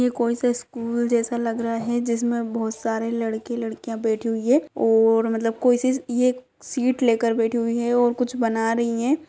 यह कोई से स्कूल जैसा लग रहा है जिसमें बोहोत सारे लड़के लड़कियां बैठी हुई हैं और मतलब कोई सी येक सीट लेकर बैठी हुई है और कुछ बना रही हैं।